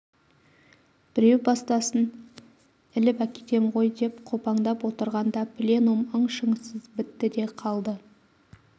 біреу бастасын іліп әкетем ғой деп қопаңдап отырғанда пленум ың-шыңсыз бітті де қалды